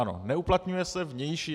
Ano, neuplatňuje se vnější.